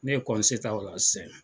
Ne ye kɔnse ta orɔ sɛn.